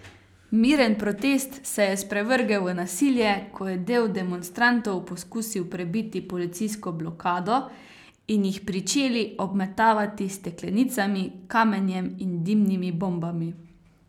Miren protest se je sprevrgel v nasilje, ko je del demonstrantov poskusil prebiti policijsko blokado in jih pričeli obmetavati s steklenicami, kamenjem in dimnimi bombami.